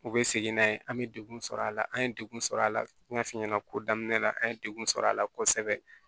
U bɛ segin n'a ye an bɛ degun sɔrɔ a la an ye degun sɔrɔ a la n y'a f'i ɲɛna ko daminɛ la an ye degun sɔrɔ a la kosɛbɛ